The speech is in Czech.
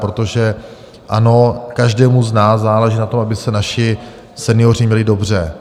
Protože ano, každému z nás záleží na tom, aby se naši senioři měli dobře.